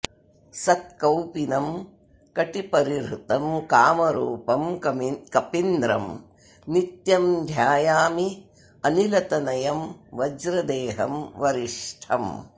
सत्कौपीनं कटिपरिहृतं कामरूपं कपीन्द्रं नित्यं ध्यायाम्यनिलतनयं वज्रदेहं वरिष्ठम्